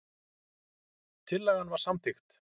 Tillagan var samþykkt.